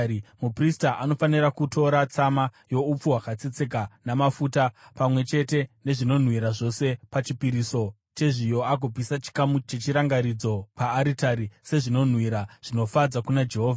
Muprista anofanira kutora tsama youpfu hwakatsetseka namafuta, pamwe chete nezvinonhuhwira zvose pachipiriso chezviyo agopisa chikamu chechirangaridzo paaritari sezvinonhuhwira zvinofadza kuna Jehovha.